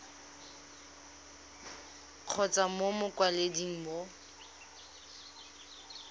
kgotsa mo go mokwaledi mo